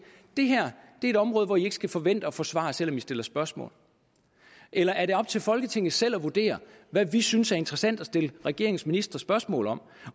det her er et område hvor i ikke skal forvente at få svar selv om i stiller spørgsmål eller er det op til folketinget selv at vurdere hvad vi synes er interessant at stille regeringens ministre spørgsmål om